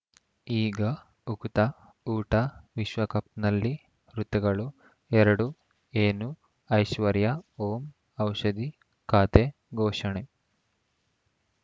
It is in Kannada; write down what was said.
ಈಗ ಉಕುತ ಊಟ ವಿಶ್ವಕಪ್‌ನಲ್ಲಿ ಋತುಗಳು ಎರಡು ಏನು ಐಶ್ವರ್ಯಾ ಓಂ ಔಷಧಿ ಖಾತೆ ಘೋಷಣೆ